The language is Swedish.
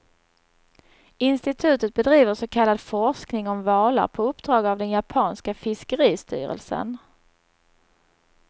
Institutet bedriver så kallad forskning om valar på uppdrag av den japanska fiskeristyrelsen.